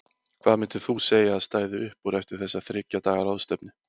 Hvað myndir þú segja að stæði upp úr eftir þessa þriggja daga ráðstefnu?